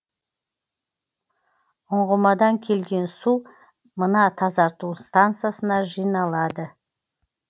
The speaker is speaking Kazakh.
ұңғымадан келген су мына тазарту стансасына жиналады